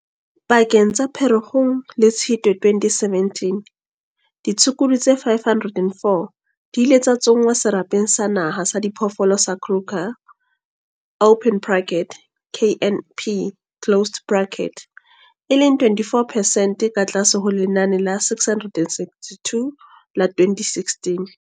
Pakeng tsa Pherekgong le Tshitwe 2017, ditshukudu tse 504 di ile tsa tsongwa Serapeng sa Naha sa Diphoofolo sa Kruger open bracket KNP closed bracket, e leng 24 percent ka tlase ho lenane la 662 la 2016.